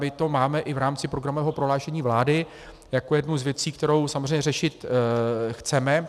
My to máme i v rámci programového prohlášení vlády jako jednu z věcí, kterou samozřejmě řešit chceme.